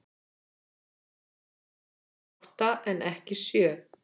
Átta en ekki sjö